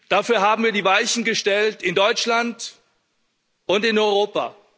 Dafür haben wir die Weichen gestellt, in Deutschland und in Europa.